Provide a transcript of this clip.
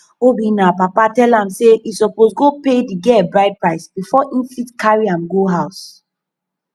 obinna papa tell am say e suppose go pay the girl bride price before im fit carry am go house